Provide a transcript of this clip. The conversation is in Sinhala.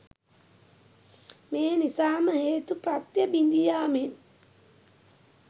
මේ නිසාම හේතු ප්‍රත්‍ය බිඳීයාමෙන්